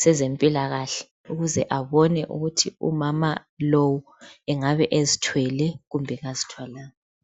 sezempilakahle ukuze abone ukuthi umama lo engabe ezithwele kumbe kazithwalanga.